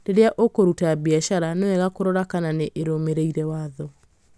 rĩrĩa ũkũruta biacara nĩ wega kũrora kana nĩ irũmĩrĩre watho